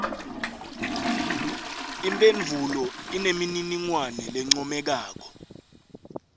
imphendvulo inemininingwane lencomekako